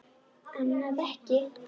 Annað ekki.